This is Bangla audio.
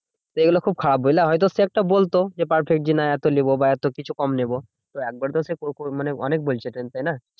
তো এইগুলো খুব খারাপ বুঝলা? হয়তো সে একটা বলতো যে perfect যে না এত নেবো বা এত কিছু কম নেবো। তো একবারে তো সে অনেক বলছে তাইনা?